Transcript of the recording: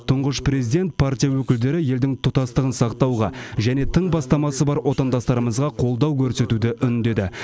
тұңғыш президент партия өкілдері елдің тұтастығын сақтауға және тың бастамасы бар отандастарымызға қолдау көрсетуді үндеді